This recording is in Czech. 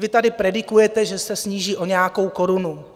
Vy tady predikujete, že se sníží o nějakou korunu.